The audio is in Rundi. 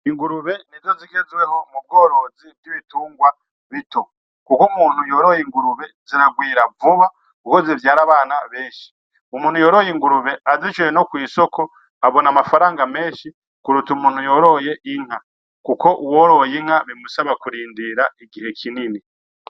Ingurube nizo zigezweho mu bworozi bw'ibitungwa bito, kuko umuntu yoroye ingurube ziragwira vuba kuko zivyara abana benshi umuntu yoroye ingurube azishize no kwisoko abona amafaranga menshi kuruta umuntu yoroye inka kuko uworoye inka bimusaba kurindira igihe kinini.